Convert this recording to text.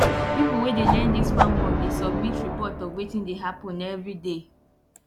pipo wey dey learn dis farm work dey submit report of wetin dey happen everyday